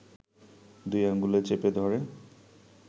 দুই আঙুলে চেপে ধরে